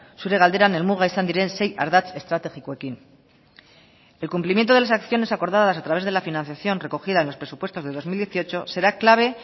zure galderan helmuga izan diren sei ardatz estrategikoekin el cumplimiento de las acciones acordadas a través de la financiación recogida en los presupuestos de dos mil dieciocho será clave